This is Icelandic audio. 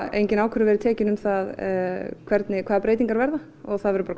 engin ákvörðun verið tekin um það hvaða breytingar verða og það verður bara